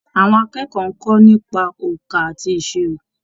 Àwọn akẹ́kọ̀ọ́ ń kọ́ nípa òǹkà àti ìṣirò.